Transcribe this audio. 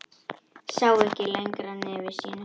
Sá ekki lengra nefi sínu.